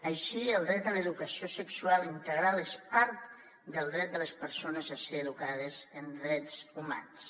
així el dret a l’educació sexual integral és part del dret de les persones a ser educades en drets humans